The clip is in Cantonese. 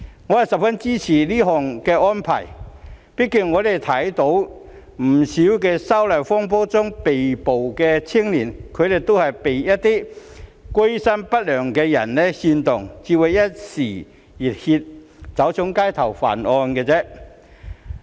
我十分支持這項安排，畢竟我們看到不少因反修例風波而被捕的青少年，都是被一些居心不良的人煽動，才會一時熱血走上街頭犯案。